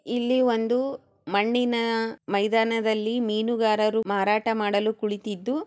ಇಲ್ಲಿ ಒಂದು ಮಣ್ಣಿನ ಮೈದಾನದಲ್ಲಿ ಮೀನುಗಾರರು ಮಾರಾಟ ಮಾಡಲು ಕುಳಿತಿದ್ದು--